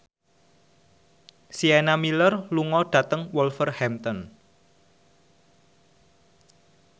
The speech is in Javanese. Sienna Miller lunga dhateng Wolverhampton